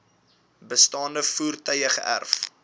bestaande voertuie geërf